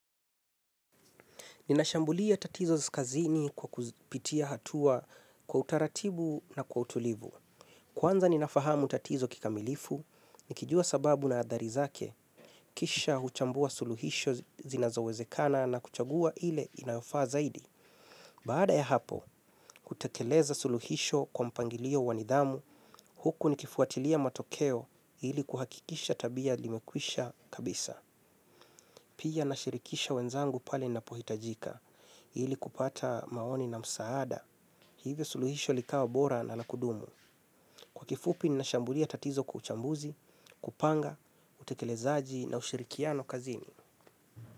Ninashambulia tatizo kazini kwa kupitia hatua kwa utaratibu na kwa utulivu. Kwanza ninafahamu tatizo kikamilifu, nikijua sababu na adhari zake, kisha huchambua suluhisho zinazowezekana na kuchagua ile inafaa zaidi. Baada ya hapo, kutekeleza suluhisho kwa mpangilio wa nidhamu, huku nikifuatilia matokeo ili kuhakikisha tabia limekwisha kabisa. Pia nashirikisha wenzangu pale inapohitajika, ili kupata maoni na msaada. Hivyo suluhisho likawa bora na la kudumu. Kwa kifupi ninashambulia tatizo kwa uchambuzi, kupanga, utekelezaji na ushirikiano kazini.